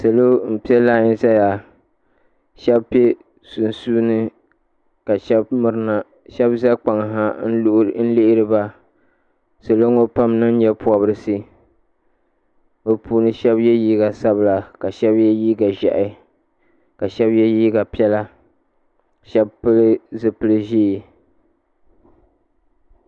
Salo m piɛ lai zaya sheba piɛ sunsuuni ka sheba mirina n za kpaŋ ha n lihiriba salo ŋɔ pam n niŋ nyeporisi bɛ puuni sheba ye liiga sabila ka sheba ye liiga ʒehi ka sheba ye liiga piɛla sheba pili zipili ʒee .